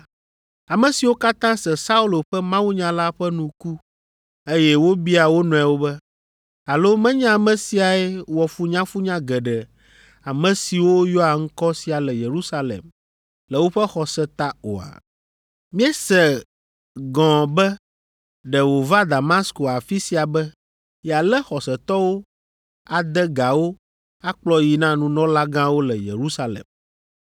Ame siwo katã se Saulo ƒe mawunya la ƒe nu ku, eye wobia wo nɔewo be, “Alo menye ame siae wɔ funyafunya geɖe ame siwo yɔa ŋkɔ sia le Yerusalem le woƒe xɔse ta oa? Míese gɔ̃ be ɖe wòva Damasko afi sia be yealé xɔsetɔwo ade ga wo akplɔ yii na nunɔlagãwo le Yerusalem!”